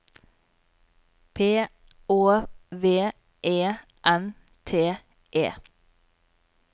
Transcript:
P Å V E N T E